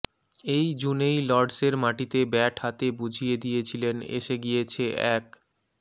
এই জুনেই লর্ডসের মাটিতে ব্যাট হাতে বুঝিয়ে দিয়েছিলেন এসে গিয়েছে এক